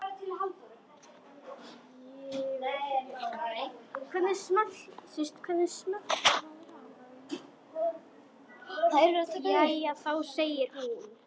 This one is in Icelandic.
Jæja þá, segir hún.